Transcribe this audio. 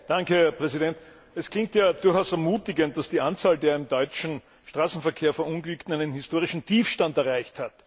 Herr Präsident! Es klingt ja durchaus ermutigend, dass die Anzahl der im deutschen Straßenverkehr Verunglückten einen historischen Tiefstand erreicht hat.